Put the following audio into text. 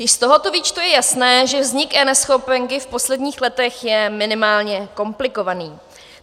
Již z tohoto výčtu je jasné, že vznik eNeschopenky v posledních letech je minimálně komplikovaný.